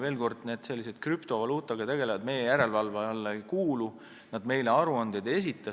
Veel kord: sellised krüptovaluutaga tegelejad meie järelevalve alla ei kuulu, nad meile aruandeid ei esita.